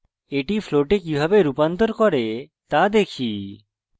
এটি float কিভাবে রূপান্তর করে তা দেখি